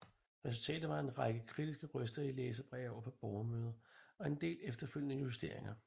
Resultatet var en række kritiske røster i læserbreve og på borgermøder og en del efterfølgende justeringer